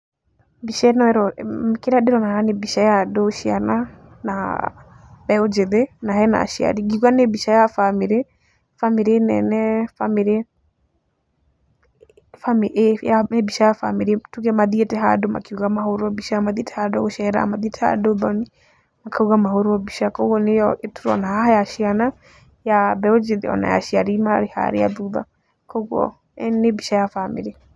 Mbica ĩno ,kĩrĩa ndĩrona nĩ mbica ya andũ ciana na mbeũ njĩthĩ na hena acari, ngiuga nĩ mbica ya bamĩrĩ, bamĩrĩ nene, bamĩrĩ, bamĩrĩ, nĩ mbica ya bamĩrĩ tuge mathiĩte handũ makiuga mahũrũo mbica mathiĩte handũ gũcera, mathiĩte handũ ũthoni, makauga mahũrwo mbica. Kuũguo nĩyo tũrona haha ya ciana, mbeũ njĩthĩ, ona ya aciari marĩ harĩa thutha kuũguo nĩ mbica ya bamĩrĩ.